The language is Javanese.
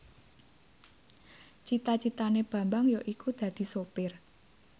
cita citane Bambang yaiku dadi sopir